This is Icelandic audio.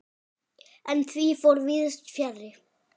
En því fór víðs fjarri.